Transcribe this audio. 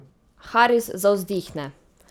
Haris zavzdihne.